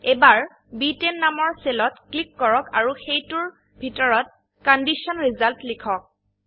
এবাৰ ব10 নামৰ সেলত ক্লিক কৰক আৰু সেইটোৰ ভিতৰত কণ্ডিশ্যন ৰিজাল্ট লিখক